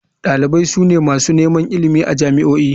Dalibai su ne masu neman ilimi a jami'o'i.